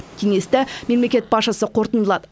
кеңесті мемлекет басшысы қорытындылады